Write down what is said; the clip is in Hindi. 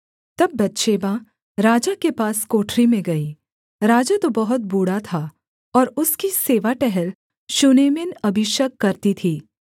तब बतशेबा राजा के पास कोठरी में गई राजा तो बहुत बूढ़ा था और उसकी सेवा टहल शूनेमिन अबीशग करती थी